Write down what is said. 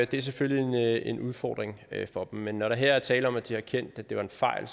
det er selvfølgelig en udfordring for dem men når der her er tale om at de har erkendt at det var en fejl